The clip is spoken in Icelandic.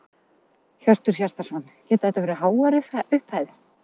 Hjörtur Hjartarson: Geta þetta verið háar upphæðir?